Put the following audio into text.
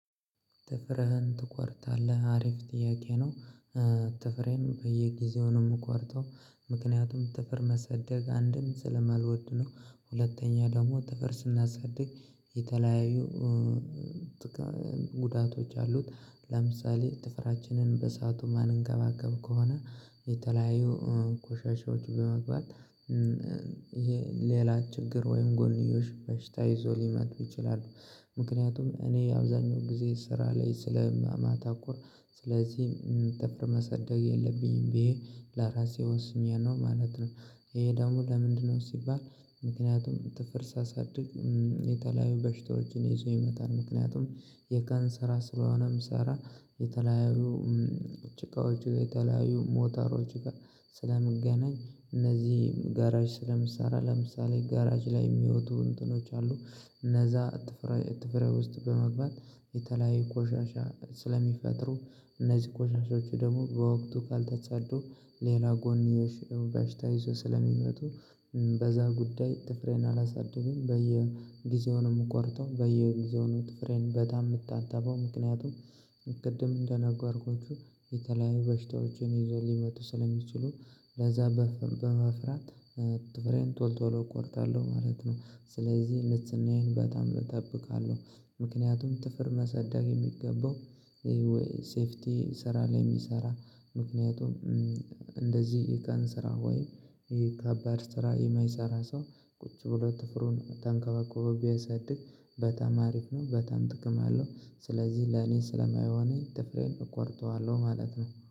ጥፍርህን ትቆርጣለህ? አሪፍ ጥያቄ ነው ጥፍሬን በየጊዜው ነው የምቆርጠው ምክንያቱም ጥፍር ማሳደግ አንድም ስለማልወድ ነው ሁለተኛ ደግሞ ጥፍር ስናሰደግ የተለያዩ ጉዳቶች አሉት ለምሳሌ ጥፍራችንን በሰአቱ የማንንከባከብ ከሆነ የተለያዩ ኮሻሻዎች በመግባት ይሄ ሌላ ችግር ወይም ጎንዮሽ በሽታ ይዞ ሊመጡ ይችላሉ ምክንያቱም እኔ አብዛኛው ጊዜ ስራ ላይ ስለማታኩር ስለዚህ ጥፍር ማሰደግ የለብኝም ብዬ ለራሴ ወስኜ ነው ማለት ነው ይሄ ደግሞ ለምንድነው ሲባል ምክንያቱም ጥፍር ሳሳድግ የተለያዩ በሽታዎችን ይዞ ይመጣል ምክንያቱም የቀን ስራ ስለሆነም ስራ የተለያዩ ጭቃዎች የተለያዩ ሞተሮች ጋር ስለምገናኝ እነዚህ ጋራዥ ስለምሰራ ለምሳሌ ጋራዥ ላይ የሚወጡ እንትኖች አሉ እነዛ ጥፍር ጥፍሬ ውስጥ በመግባት የተለያየ ቆሻሻ ስለሚፈጥሩ እነዚህ ቆሻዎች ደግሞ በወቅቱ ካልተጻዱ ሌላ ጎንዮሽ በሽታ ይዘው ስለሚመጡ በዛ ጉዳይ ጥፍሬን አላሳድግም በየጊዜው ነው የምቆርጠው በየጊዜው ነው ጥፍሬን በጣም የምታጠበው ምክንያቱም ቅድም እንደነጋርኳችሁ የተለያዩ በሽታዎችን ይዞ ሊመጡ ስለሚችሉ ለዛ በመፍራት ጥፍሬን ቶል ቶሎ እቆርጣለሁ ማለት ነው ስለዚህ ንጽህናዬን በጣም እጠብቃለሁ ምክንያቱም ጥፍር ማሳደግ የሚገባው ሴፍቲ ስራ ላይ የሚሰራ ምክንያቱም እንደዚህ የቀን ስራ ወይም ይሄ ከባድ ስራ የማይሰራ ሰው ቁጭ ብሎ ጥፍሩን ተንከባከቦ ቢያሳድስ በጣም አሪፍ ነው በጣም ጥቅም ያለው ስለዚህ ለኔ ስለማይሆን ትፍሬን እቆርጠዋለሁ ማለት ነው